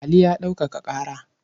Ali ya ɗaukaka ƙara.